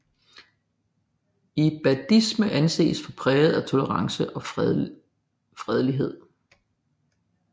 Ibadisme anses for præget af tolerance og fredelighed